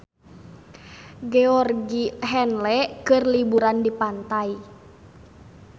Georgie Henley keur liburan di pantai